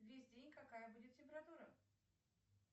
весь день какая будет температура